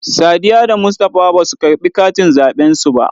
Sadiyya da Mustapha basu karɓi katin zaɓen su ba.